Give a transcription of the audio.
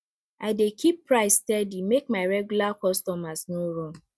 i dey keep price steady make my regular customers no run